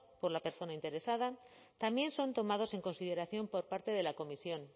por la persona interesada también son tomados en consideración por parte de la comisión